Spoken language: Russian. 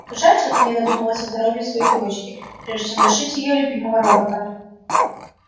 жаль что ты не додумала о здоровье своей девочки прежде чем лишить её любимого робота